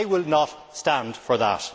I will not stand for that.